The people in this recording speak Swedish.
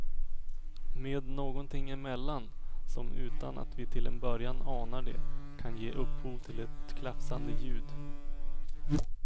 Med någonting emellan, som utan att vi till en början anar det kan ge upphov till ett klafsande ljud.